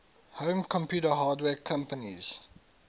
home computer hardware companies